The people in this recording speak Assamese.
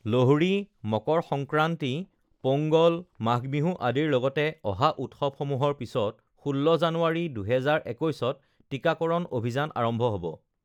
লোহড়ী, মকৰ সংক্ৰান্তি, পোংগল, মাঘ বিহু আদিৰ লগতে অহা উৎসৱসমূহৰ পিছত ১৬ জানুৱাৰী, ২০২১ত টীকাকৰণ অভিযান আৰম্ভ হ ব